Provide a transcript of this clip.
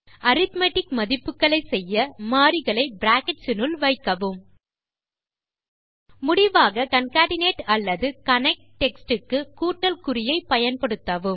arithmetic மதிப்புக்களை செய்ய மாறிகளை பிராக்கெட்ஸ் னுள் வைக்கவும் முடிவாக கான்கேட்னேட் அல்லது கனெக்ட் டெக்ஸ்ட் க்கு கூட்டல் குறியை பயன்படுத்தவும்